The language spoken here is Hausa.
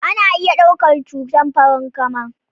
Ana iya ɗaukar cutar Farankama